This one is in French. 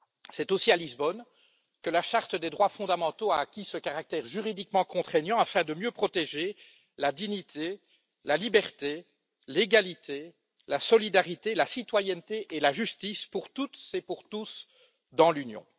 C'est aussi à Lisbonne que la charte des droits fondamentaux a acquis ce caractère juridiquement contraignant afin de mieux protéger la dignité, la liberté, l'égalité, la solidarité, la citoyenneté et la justice pour toutes et pour tous dans l'Union.